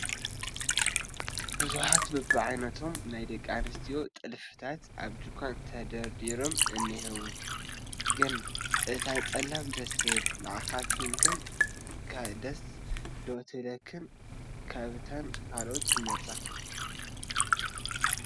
ብዙሓት በብዓይነቶም ናይ ደቂ ኣንስትዮ ጥልፍታት ኣብቲ ድንኳን ተደርዲሮም እኒሄው፡፡ ግን እታ ፀላም ደስ ትብል፣ ንዓኻትክን ከ ደስ ዶ ትብለክንስ ካብተን ካልኦት ትመርፃ?